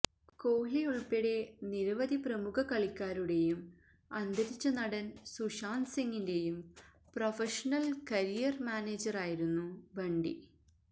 കോഹ്ലിയുള്പ്പെടെ നിരവധി പ്രമുഖ കളിക്കാരുടെയും അന്തരിച്ച നടന് സുശാന്ത് സിംഗിന്റെയും പ്രൊഫഷനല് കരിയര് മാനേജറായിരുന്നു ബണ്ടി